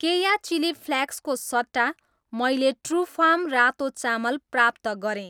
केया chilli flakes को सट्टा, मैले ट्रुफार्म रातो चामल प्राप्त गरेँ।